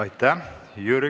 Aitäh!